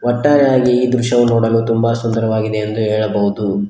ಒಟ್ಟಾರೆಯಾಗಿ ಈ ದೃಶ್ಯವೂ ನೋಡಲು ತುಂಬ ಸುಂದರವಾಗಿದೆ ಎಂದು ಹೇಳಬಹುದು.